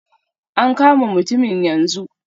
A kama mutumin yanzu.